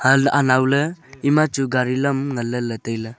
an anow ley ima chu gari lam ngan ley ley tai ley.